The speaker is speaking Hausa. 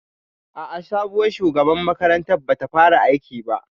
A'a, sabuwar shugabar makarantar bata fara aiki ba